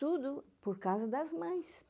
Tudo por causa das mães.